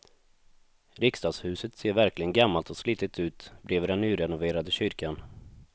Riksdagshuset ser verkligen gammalt och slitet ut bredvid den nyrenoverade kyrkan.